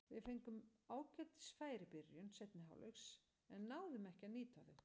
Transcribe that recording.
Við fengum ágætis færi í byrjun seinni hálfleiks en náðum ekki að nýta þau.